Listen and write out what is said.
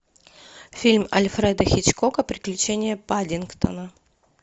фильм альфреда хичкока приключения паддингтона